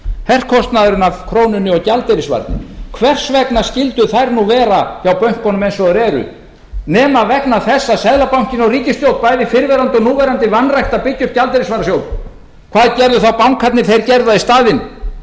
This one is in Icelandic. herkostnaðurinn af krónunni og gjaldeyrisvarnir hvers vegna skyldu þær nú vera hjá bönkunum eins og þær eru nema vegna þess að seðlabankinn og ríkisstjórn bæði fyrrverandi og núverandi vanræktu að byggja upp gjaldeyrisvarasjóð hvað gerðu þá bankarnir þeir gerðu það í staðinn þeir